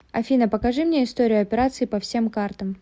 афина покажи мне историю операций по всем картам